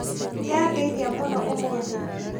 Nĩandeithia mũno ũmũthĩ